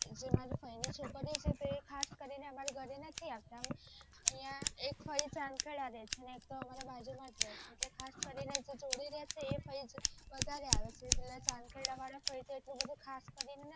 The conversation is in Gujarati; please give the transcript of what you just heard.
મારા ફઈ ની છોકરી ઑ છે તે ખાસ કરી ને અમારા ઘરે નથી આવતા એક ફઈ જઙ્ઘેડા રહે છે અને એક તો આમરા બાજુ માં જ રહે છે ઍટલે ખાસ કરી ને જે જોડે રહે છે એ ફઈ વધારે આવે છે પેલા જઙ્ઘેડા વાળા ફઈ છે આટલું ખાસ કરી ને નથી આવતા